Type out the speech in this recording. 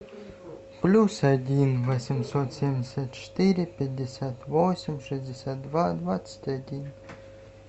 плюс один восемьсот семьдесят четыре пятьдесят восемь шестьдесят два двадцать один